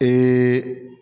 Ee